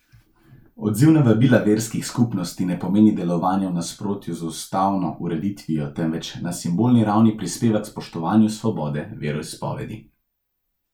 Odziv na vabila verskih skupnosti ne pomeni delovanja v nasprotju z ustavno ureditvijo, temveč na simbolni ravni prispeva k spoštovanju svobode veroizpovedi.